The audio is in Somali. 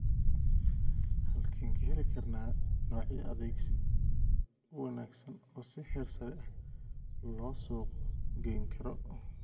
Halkeen ka heli karnaa noocyo adkaysi u wanaagsan oo si heersare ah loo suuq gayn karo?